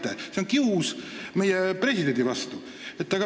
See teie kius on kius meie presidendi vastu.